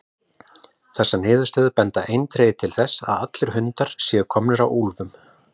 Þessar niðurstöður benda eindregið til þess að allir hundar séu komnir af úlfum.